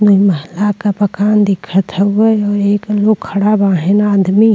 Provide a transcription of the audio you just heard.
दुई महला क मकान दिखत हउवे और एक लोग खड़ा बाहेन आदमी।